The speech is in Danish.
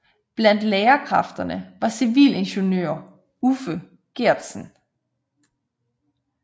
Blandt lærerkræfterne var civilingeniør Uffe Geertsen